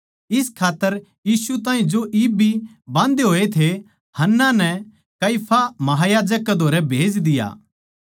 इस खात्तर यीशु ताहीं जो इब भी बाँधे होए थे हन्ना नै काइफा महायाजक कै धोरै भेज दिया